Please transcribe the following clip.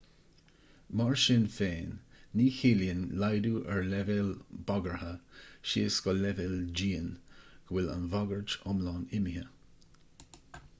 mar sin féin ní chiallaíonn laghdú ar leibhéal bagartha síos go leibhéal dian go bhfuil an bhagairt iomlán imithe